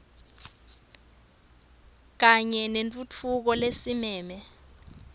kanye nentfutfuko lesimeme